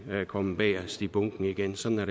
kommet bagest i bunken igen sådan har